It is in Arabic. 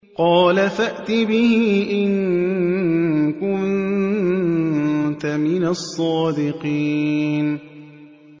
قَالَ فَأْتِ بِهِ إِن كُنتَ مِنَ الصَّادِقِينَ